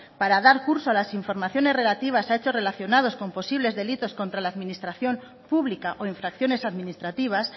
para dar curso a las informaciones relativas a hechos relacionados con posibles delitos contra la administración pública o infracciones administrativas